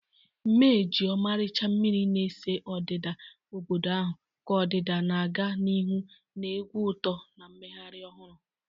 Mee ji ọmarịcha mmiri na-ese odida obodo ahụ, ka ọdịdị na-aga n'ihu na egwu uto na mmeghari ohuru